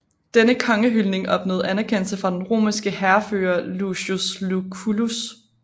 Denne kongehyldning opnåede anerkendelse fra den romerske hærfører Lucius Lucullus